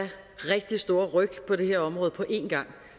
rigtig store ryk på det her område på en gang